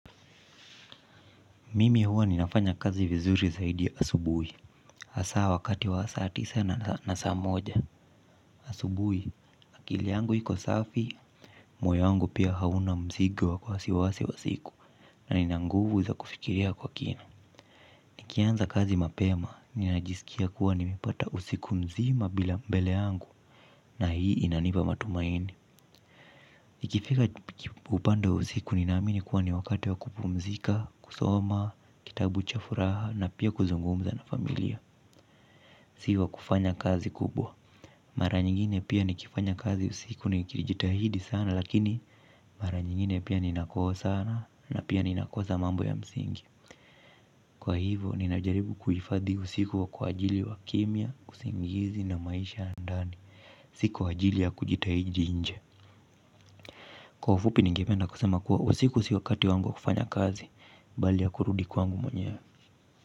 Mimi huwa ninafanya kazi vizuri zaidi asubui. Hasa wakati wa saa tisa na saa moja. Asubui, akili yangu iko safi, moyo yangu pia hauna mzigo wasiwasi wa siku na ninanguvu za kufikiria kwa kina. Nikianza kazi mapema, ninajisikia kuwa nimepata usiku mzima bila mbele yangu na hii inanipa matumaini. Ikifika upande wa usiku nina amini kuwa ni wakati wa kupumzika, kusoma, kitabu cha furaha na pia kuzungumza na familia. Sivo kufanya kazi kubwa. Mara nyingine pia nikifanya kazi usiku ni kilijitahidi sana lakini mara nyingine pia ninakosa na pia ninakosa mambo ya msingi. Kwa hivo ninajaribu kuhifadhi usiku wa kwa ajili wa kimya, usingizi na maisha ya ndani. Sivo kufanya kazi kubwa. Mara nyingine pia nikifanya kazi usiku ni kilijitahidi sana lakini mara nyingine pia ninakosa na pia ninakosa mambo ya msingi. Kwa hivo ninajaribu kuhifadhi usiku wa kwa ajili wa kimya, usingizi na maisha ya ndani bali ya kurudi kwangu mwenyewe.